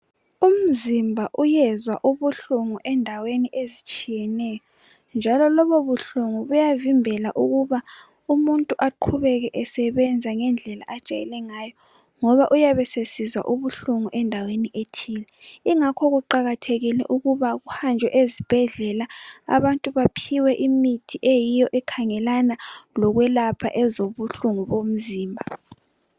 Umzimba uyezwa ubuhlungu endaweni ezitshiyeneyo njalo lobubuhlungu buyavimbela ukuba umuntu aqhubeke esebenza ngendlela ajayele ngayo ngoba uyabe esesizwa ubuhlungu endaweni ethile. Ingakho kuqakathekile ukuba kuhanjwe ezibhedlela abantu baphiwe imithi eyiyo ekhangelana lokwelapha ezobuhlungu bomzimba.